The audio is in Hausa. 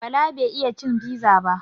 Bala bai iya cin fiza ba